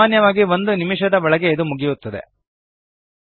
ಸಾಮಾನ್ಯವಾಗಿ ಒಂದು ನಿಮಿಷದ ಒಳಗೆ ಇದು ಮುಗಿಯುತ್ತದೆ